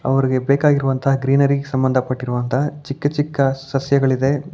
ಅವರಿಗೆ ಬೇಕಾಗಿರುವಂತಹ ಗ್ರೀನರಿ ಸಂಬಂಧಪಟ್ಟಂತಹ ಚಿಕ್ಕ ಚಿಕ್ಕ ಸಸ್ಯಗಳಿದೆ.